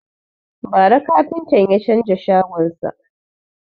Bara kafintan ya canza shagon sa.